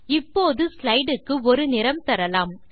இப்போது ஸ்லைடு க்கு ஒரு நிறம் தரலாம்